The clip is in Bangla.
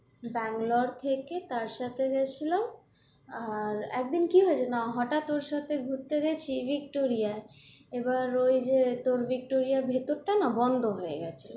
ব্যাঙ্গালোর থেকে তার সাথে গেছিলাম আর একদিন কি হয়েছে না হঠাৎ ওর সাথে ঘুরতে গেছি ভিক্টোরিয়ায় এবার ওই যে তোর ভিক্টোরিয়ার ভেতর টা না বন্ধ হয়ে গেছে,